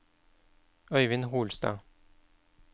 Øyvind Holstad